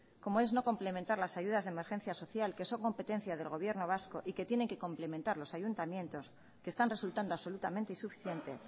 como es no complementar las ayudas de emergencia social que son competencia del gobierno vasco y que tienen que complementar los ayuntamientos que están resultando absolutamente insuficiente